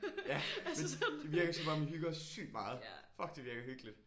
Ja men det virker som om I hygger sygt meget. Fuck det virker hyggeligt